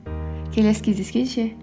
келесі кездескенше